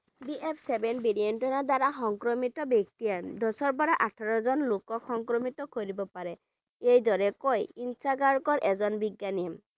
BF seven variant ৰ দ্বাৰা সংক্ৰমিত ব্যক্তিয়ে দহৰ পৰা ওঠৰজন লোকক সংক্ৰমিত কৰিব পাৰে এইদৰে কয় INSACOG ৰ এজন বিজ্ঞানীয়ে